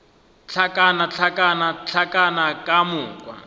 hlakana hlakana hlakana ka moka